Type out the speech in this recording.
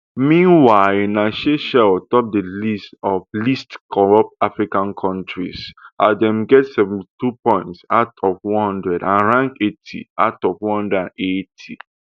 meanwhile na seychelles top di list of least corrupt african kontris as dem get seventy-two points out of one hundred and rank eighty out of one hundred and eighty